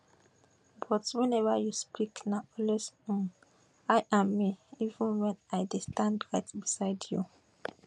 but whenever you speak na always um i and me even wen i dey stand right beside you